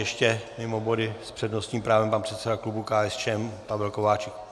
Ještě mimo body s přednostním právem pan předseda klubu KSČM Pavel Kováčik.